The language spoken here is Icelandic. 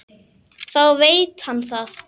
Þá veit hann það.